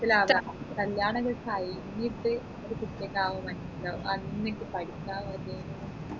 മനസ്സിലാവുഅ കല്യാണൊക്കെ കഴിഞ്ഞിട്ട് ഒരു കുട്ടിയെല്ലും ആവുമ്പൊ മനസ്സിലാവും ആൻ എനിക്ക് പഠിച്ച മതി ഏനു